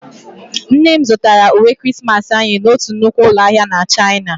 Nne m zụtara uwe Krismasị anyị n'otu nnukwu ụlọ ahịa na Chaịna